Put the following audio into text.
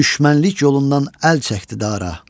Düşmənlik yolundan əl çəkdi dara.